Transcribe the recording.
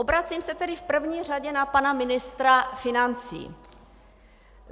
Obracím se tedy v první řadě na pana ministra financí.